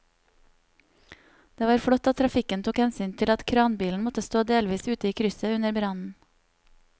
Det var flott at trafikken tok hensyn til at kranbilen måtte stå delvis ute i krysset under brannen.